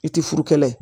I tɛ furu kɛlɛ ye